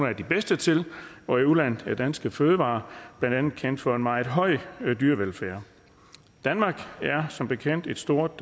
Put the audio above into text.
af de bedste til og i udlandet er danske fødevarer blandt andet kendt for en meget høj dyrevelfærd danmark er som bekendt et stort